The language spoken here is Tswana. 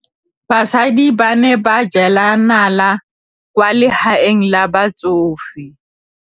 Basadi ba ne ba jela nala kwaa legaeng la batsofe.